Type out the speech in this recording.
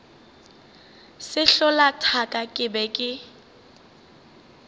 sehlola thaka ke be ke